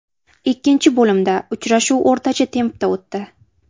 Ikkinchi bo‘limda uchrashuv o‘rtacha tempda o‘tdi.